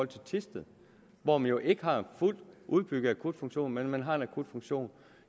thisted hvor man jo ikke har en fuldt udbygget akutfunktion men man har en akutfunktion